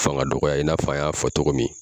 Fanga dɔgɔya i n'a fɔ an y'a togo min